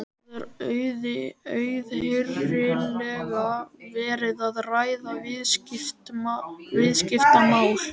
Það er auðheyrilega verið að ræða viðskiptamál.